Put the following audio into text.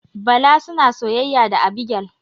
Bala suna soyayya da Abigail.